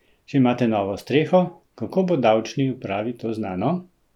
Če imate novo streho, kako bo davčni upravi to znano?